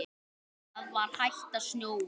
Það var hætt að snjóa.